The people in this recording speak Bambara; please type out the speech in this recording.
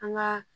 An ka